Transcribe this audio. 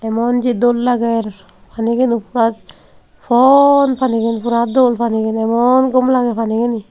monji dol lager panigano pora pon panigan pura dol panigan emon dol lagey panigani.